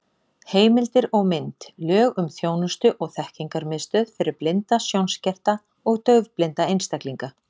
Heimildir og mynd: Lög um þjónustu- og þekkingarmiðstöð fyrir blinda, sjónskerta og daufblinda einstaklinga.